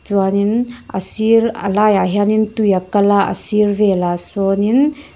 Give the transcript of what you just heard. chuanin a sir a laiah hianin tui a kal a a sir velah sawnin --